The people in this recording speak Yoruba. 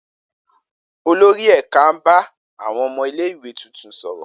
Olori ẹka n ba awọn ọmọ ile-iwe tuntun sọrọ.